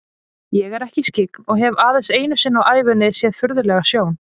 Ég er ekki skyggn og hef aðeins einu sinni á ævinni séð furðulega sjón.